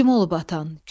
Kim olub atan?